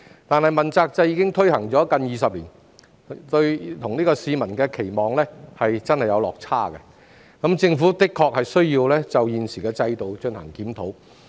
但問責制已推行近20年，與市民的期望真的有落差，政府的確需要檢討現時的制度。